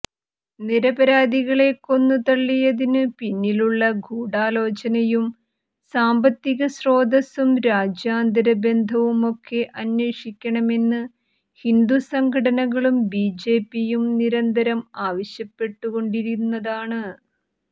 നിരപരാധികളെ കൊന്നുതള്ളിയതിനു പിന്നിലുളള ഗൂഢാലോചനയും സാമ്പത്തിക സ്രോതസ്സും രാജ്യാന്തര ബന്ധവുമൊക്കെ അന്വേഷിക്കണമെന്ന് ഹിന്ദു സംഘടനകളും ബിജെപിയും നിരന്തരം ആവശ്യപ്പെട്ടുകൊണ്ടിരുന്നതാണ്